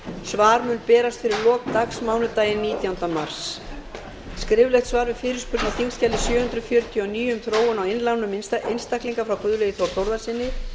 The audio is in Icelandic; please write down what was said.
svar mun berast fyrir lok dags mánudaginn nítjánda mars öðrum skriflegt svar við fyrirspurn á þingskjali sjö hundruð fjörutíu og níu um þróun á innlánum einstaklinga frá guðlaugi þór þórðarsyni